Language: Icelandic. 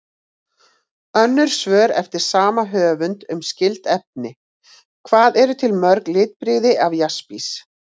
Önnur svör eftir sama höfund um skyld efni: Hvað eru til mörg litbrigði af jaspis?